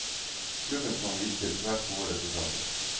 Klubben kan vise til svært gode resultater.